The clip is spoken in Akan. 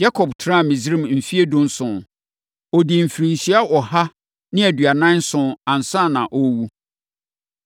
Yakob tenaa Misraim mfeɛ dunson. Ɔdii mfirinhyia ɔha ne aduanan nson ansa na ɔrewu.